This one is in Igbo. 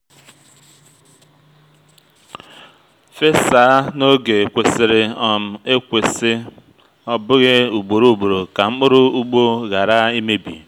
fesa n’oge kwesịrị um ekwesị ọ bụghị ugboro ugboro ka mkpụrụ ugbo ghara imebi